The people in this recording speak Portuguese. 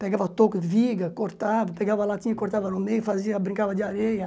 Pegava touca, de viga, cortava, pegava latinha e cortava no meio, fazia, brincava de areia.